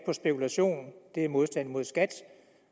på spekulation er modstand mod skat